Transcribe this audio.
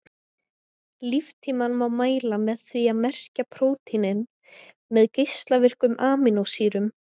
Líftímann má mæla með því að merkja prótínin með geislavirkum amínósýrum.